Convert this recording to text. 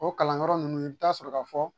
O kalan kɔrɔ nunnu i bi taa sɔrɔ ka fɔ